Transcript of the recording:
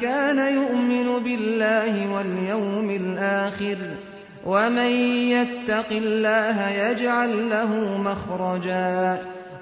كَانَ يُؤْمِنُ بِاللَّهِ وَالْيَوْمِ الْآخِرِ ۚ وَمَن يَتَّقِ اللَّهَ يَجْعَل لَّهُ مَخْرَجًا